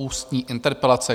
Ústní interpelace